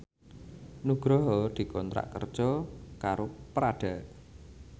Nugroho dikontrak kerja karo Prada